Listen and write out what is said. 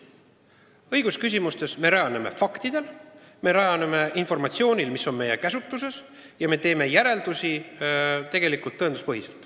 Õigusküsimuste üle otsustamisel tuginetakse faktidele, informatsioonile, mis on meie käsutuses, ja me teeme järeldusi tõenduspõhiselt.